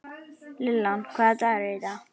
Lillian, hvaða dagur er í dag?